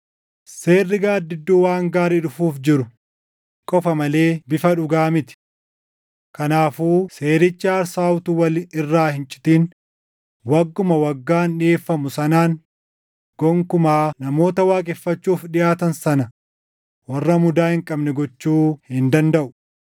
Seerri gaaddidduu waan gaarii dhufuuf jiruu qofa malee bifa dhugaa miti. Kanaafuu seerichi aarsaa utuu wal irraa hin citin wagguma waggaan dhiʼeeffamu sanaan gonkumaa namoota waaqeffachuuf dhiʼaatan sana warra mudaa hin qabne gochuu hin dandaʼu.